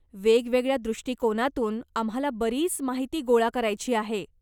वेगवेगळ्या दृष्टिकोनांतून आम्हाला बरीच माहिती गोळा करायची आहे.